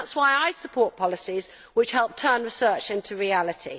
That is why I support policies which help turn research into reality.